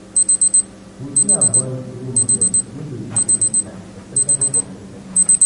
We fit avoid role models wey dey live fake life especially for social media